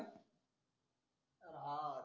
हा